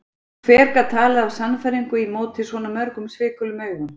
Hver gat talað af sannfæringu í móti svona mörgum svikulum augum?